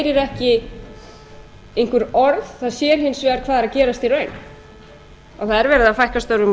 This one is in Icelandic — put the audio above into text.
ekki einhver orð það er hins vegar hvað er að gerast í raun að það er verið að fækka störfum og